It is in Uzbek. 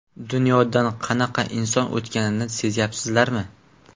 Dunyodan qanaqa inson o‘tganini sezyapsizlarmi?